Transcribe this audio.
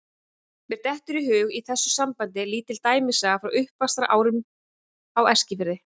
Mér dettur í hug í þessu sambandi lítil dæmisaga frá uppvaxtarárunum á Eskifirði.